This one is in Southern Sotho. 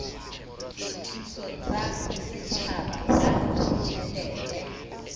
dithuso tsa setjhaba ka ditjhelete